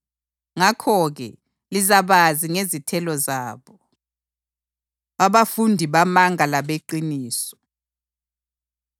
Ngakho-ke, lizabazi ngezithelo zabo.” Abafundi Bamanga Labeqiniso